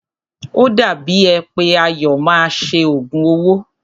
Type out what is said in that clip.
O dàbí è pé Ayọ̀ máa ṣe òògùn owó.